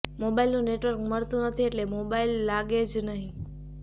મોબાઇલનું network મળતું નથી એટલે મોબાઇલ લાગે જ નહીં